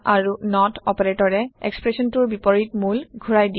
আৰু নত অপাৰেটৰে এক্সপ্ৰেচনটোৰ বিপৰীত মোল ঘূৰাই দিয়ে